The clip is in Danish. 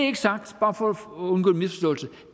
ikke sagt bare for at undgå